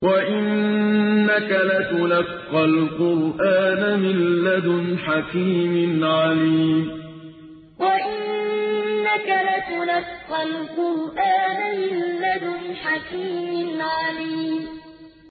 وَإِنَّكَ لَتُلَقَّى الْقُرْآنَ مِن لَّدُنْ حَكِيمٍ عَلِيمٍ وَإِنَّكَ لَتُلَقَّى الْقُرْآنَ مِن لَّدُنْ حَكِيمٍ عَلِيمٍ